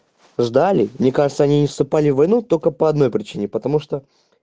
ждали мне кажется они не вступали в войну только по одной причине потому что